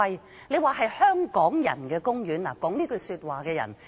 說"海洋公園是香港人的公園"那人現時不在席。